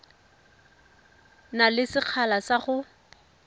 na le sekgala sa go